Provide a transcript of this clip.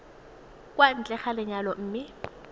kwa ntle ga lenyalo mme